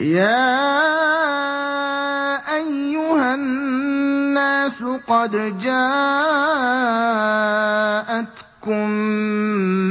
يَا أَيُّهَا النَّاسُ قَدْ جَاءَتْكُم